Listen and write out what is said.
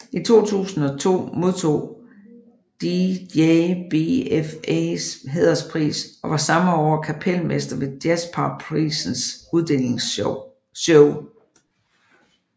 I 2002 modtog han DJBFAs Hæderspris og var samme år kapelmester ved Jazzpar Prisens uddelingsshow